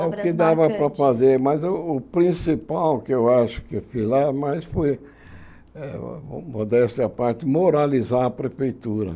É o que dava para fazer, mas o o principal que eu acho que eu fiz lá mais foi, eh modéstia à parte, moralizar a prefeitura.